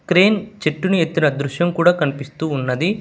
Crane చెట్టుని ఎత్తున దృశ్యం కూడా కనిపిస్తూ ఉన్నది.